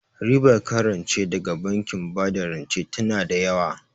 Ribar kan rance daga bankin bada rance tana da yawa